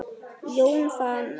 Jón Fannar.